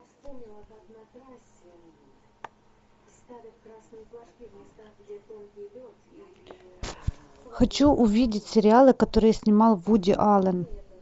хочу увидеть сериалы которые снимал вуди аллен